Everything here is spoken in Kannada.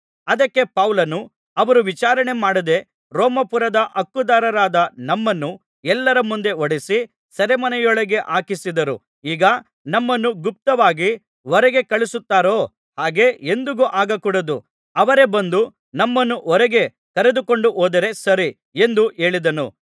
ಅದಕ್ಕೆ ಪೌಲನು ಅವರು ವಿಚಾರಣೆಮಾಡದೆ ರೋಮಾಪುರದ ಹಕ್ಕುದಾರರಾದ ನಮ್ಮನ್ನು ಎಲ್ಲರ ಮುಂದೆ ಹೊಡಿಸಿ ಸೆರೆಮನೆಯೊಳಗೆ ಹಾಕಿಸಿದರು ಈಗ ನಮ್ಮನ್ನು ಗುಪ್ತವಾಗಿ ಹೊರಗೆ ಕಳುಹಿಸುತ್ತಾರೋ ಹಾಗೆ ಎಂದಿಗೂ ಆಗಕೂಡದು ಅವರೇ ಬಂದು ನಮ್ಮನ್ನು ಹೊರಗೆ ಕರದುಕೊಂಡುಹೋದರೆ ಸರಿ ಎಂದು ಹೇಳಿದನು